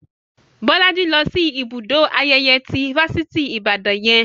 Bolaji lọ sí ibùdó ayẹyẹ ti Fáṣítì Ibadan yẹn